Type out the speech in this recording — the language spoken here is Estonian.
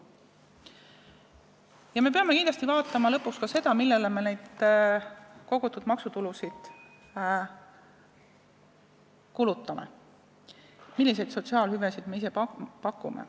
Ja lõpuks me peame kindlasti vaatama ka seda, millele me neid kogutud maksutulusid kulutame, milliseid sotsiaalhüvesid me ise pakume.